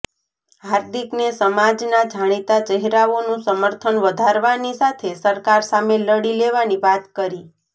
હાર્દિકને સમાજના જાણીતા ચહેરાઓનું સમર્થન વધારવાની સાથે સરકાર સામે લડી લેવાની વાત કરી